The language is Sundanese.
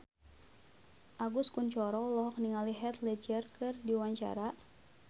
Agus Kuncoro olohok ningali Heath Ledger keur diwawancara